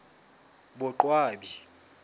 boqwabi